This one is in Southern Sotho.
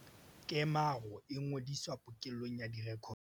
Kemaro e ngodiswa pokellong ya direkoto tsa naha.